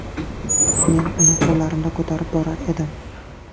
Men uni qo‘llarimda ko‘tarib borar edim.